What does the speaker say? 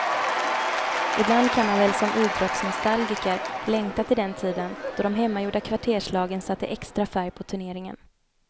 Ibland kan man väl som idrottsnostalgiker längta till den tiden då de hemmagjorda kvarterslagen satte extra färg på turneringen.